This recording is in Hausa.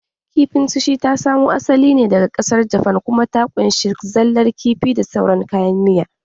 Kifin Sushi ta samo asalin ta ne daga ƙasar Jafan kuma ta ƙunshi zallar kifi da saurar kayan miya